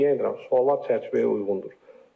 Deyinirəm, suallar çərçivəyə uyğundur.